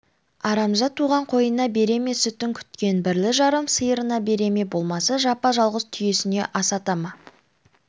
арамза туған қойына бере ме сүтін күткен бірлі-жарым сиырына бере ме болмаса жапа-жалғыз түйесіне асата ма